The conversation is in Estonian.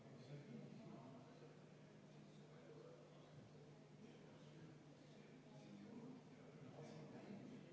Ettepanekut toetab 36 saadikut, vastuhääli ei ole, erapooletuid samuti mitte.